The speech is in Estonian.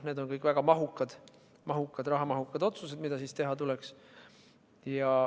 Need on kõik väga rahamahukad otsused, mida teha tuleks.